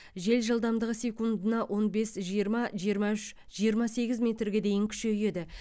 жел жылдамдығы секундына он бес жиырма жиырма үш жиырма сегіз метрге дейін күшейеді